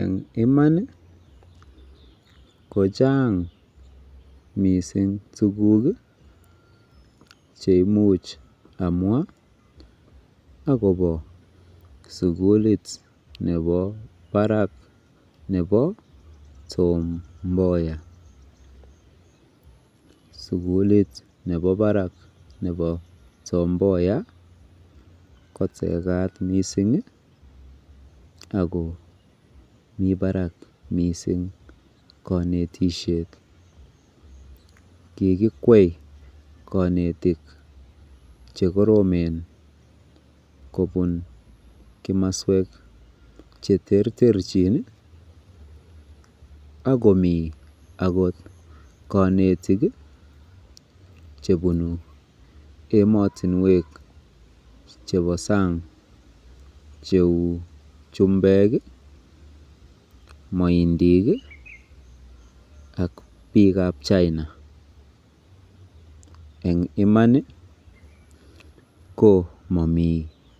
Eng' iman ko chang' missing' tuguk che imuch amwa akopa sukulit nepa parak nepa Tom Mboya. Sukulit nepa parak nepa parak nepa Tom Mboya ko tekat missing' ako mi parak missing' kanetishek. Kikikwei kanetik che koromen kopun komaswek che terterchin. Ako mi kanetik che punu ematunwek chepa sang' cheu chumbek i, maindik i ak piik ap China. Eng' iman i, ko mami